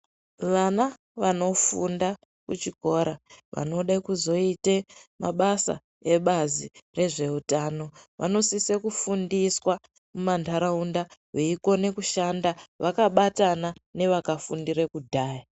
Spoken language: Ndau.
Wana wanofunda kuchikora wanoda kuzoite mabasa ebazi rezveutano wanoaiswe kufundiswa muma ndaraunda, weikona kushanda wakabatana newakafundire kudhaya.